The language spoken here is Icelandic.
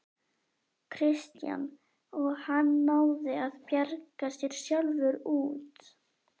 Kristján: Og hann náði að bjarga sér sjálfur út?